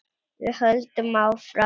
Við höldum áfram.